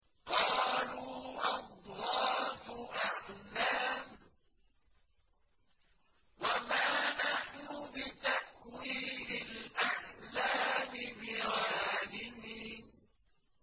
قَالُوا أَضْغَاثُ أَحْلَامٍ ۖ وَمَا نَحْنُ بِتَأْوِيلِ الْأَحْلَامِ بِعَالِمِينَ